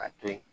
Ka to yen